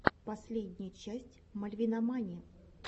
последняя часть мальвинамани